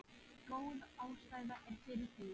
Góð ástæða er fyrir því.